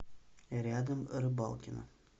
рядом рыбалкино